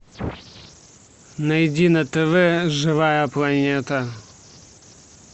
найди на тв живая планета